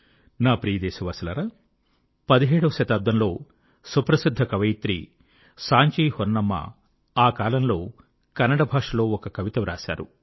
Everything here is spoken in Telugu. నా ప్రియ దేశవాసులారా 17 వశతాబ్దంలో సుప్రసిద్ధ కవయిత్రి సాంచి హొన్నమ్మ ఆకాలంలో కన్నడ భాషలో ఒక కవిత వ్రాశారు